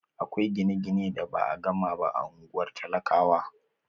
Akwai gine-gine da ba a gama ba a ungwar talakawa.